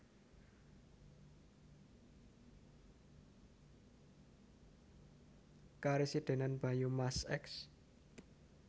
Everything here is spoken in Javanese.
Karesidenan Banyumas Eks